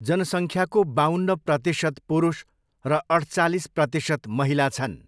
जनसङ्ख्याको बाउन्न प्रतिशत पुरुष र अठचालिस प्रतिशत महिला छन्।